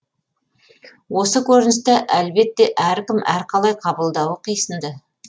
осы көріністі әлбетте әркім әрқалай қабылдауы қисынды